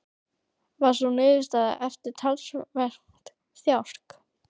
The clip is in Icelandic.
Varð sú niðurstaðan eftir talsvert þjark.